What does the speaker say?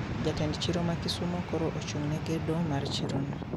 Jatend chiro ma kisumo koro ochung ne gedo mar chiro no